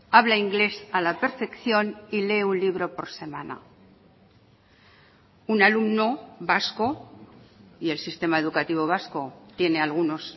habla inglés a la perfección y lee un libro por semana un alumno vasco y el sistema educativo vasco tiene algunos